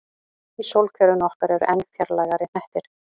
Í sólkerfinu okkar eru enn fjarlægari hnettir.